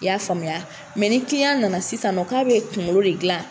I y'a faamuya ni nana sisan nɔ k'a bɛ kunkolo de gilan